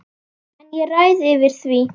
En ég ræð yfir því.